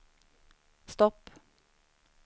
stopp